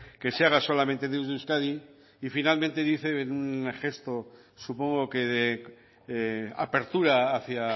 que se haga solamente desde euskadi y finalmente dice en un gesto supongo que de apertura hacia